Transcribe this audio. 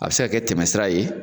A bɛ se ka kɛ tɛmɛsira ye!